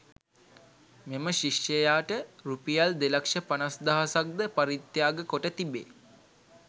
මෙම ශිෂ්‍යයාට රුපියල් දෙලක්ෂ පනස්දහසක් ද පරිත්‍යාග කොට තිබේ.